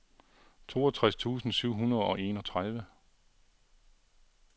toogtres tusind syv hundrede og enogtredive